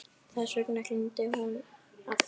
Þess vegna hringdi hún aftur.